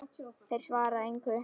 Þeir svara engu.